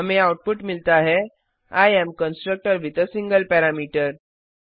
हमें आउटपुट मिलता है I am constructor with a single parameter